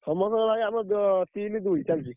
ସମତଙ୍କର ଭାଇ ଆମର ତିନି ଦୁଇ ଚାଲିଚି।